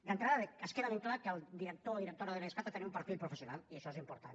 d’entrada ens queda ben clar que el director o directora de l’idescat ha de tenir un perfil professional i això és important